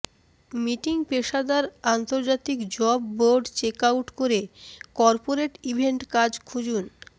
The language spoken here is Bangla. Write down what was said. মিটিং পেশাদার আন্তর্জাতিক জব বোর্ড চেক আউট করে কর্পোরেট ইভেন্ট কাজ খুঁজুন